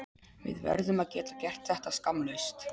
Við verðum að geta gert þetta skammlaust.